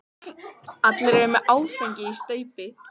Allir eru með áfengi í staupi.